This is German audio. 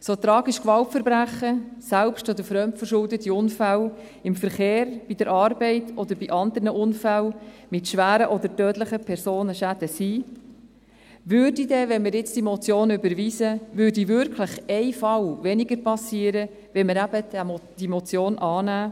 So tragisch Gewaltverbrechen, selbst- oder fremdverschuldete Unfälle im Verkehr, bei der Arbeit oder bei anderen Unfällen mit schweren oder tödlichen Personenschäden sind: Würde dann – wenn wir jetzt diese Motion überweisen – wirklich ein Fall weniger passieren, wenn wir diese Motion eben annähmen?